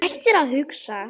Hættir að hugsa.